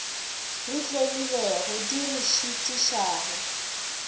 re tlemilego di re šitišago